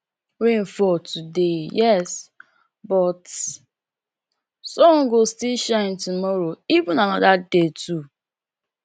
rain fall todayyes but sun go still shine tomorrow even anoda day too